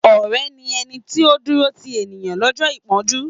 Ọ̀rẹ́ ni ẹni tí ó ń dúró ti ènìyàn lọ́jọ́ ìpọ́njú.